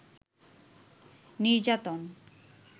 নির্যাতন